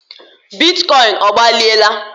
bitcoin ọgbaliela?